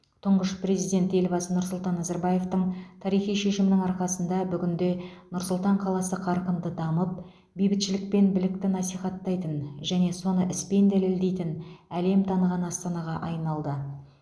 тұңғыш президент елбасы нұрсұлтан назарбаевтың тарихи шешімінің арқасында бүгінде нұр сұлтан қаласы қарқынды дамып бейбітшілік пен бірлікті насихаттайтын және соны іспен дәлелдейтін әлем таныған астанаға айналды